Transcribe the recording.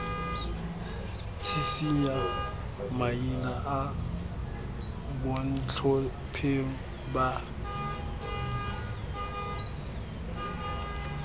tshisinya maina a bontlhopheng ba